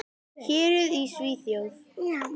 Héruð í Svíþjóð